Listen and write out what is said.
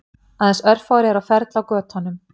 Aðeins örfáir eru á ferli á götunum